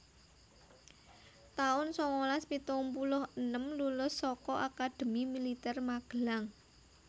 taun sangalas pitung puluh enem Lulus saka Akademi Militer Magelang